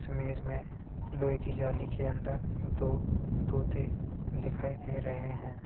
इस इमेज मे लोहे की जाली के अंदर दो तोते दिखाई दे रहे है।